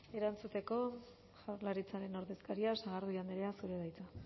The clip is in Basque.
erantzuteko jaurlaritzaren ordezkaria sagardui andrea zurea da hitza